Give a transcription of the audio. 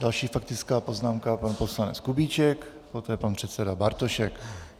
Další faktická poznámka, pan poslanec Kubíček, poté pan předseda Bartošek.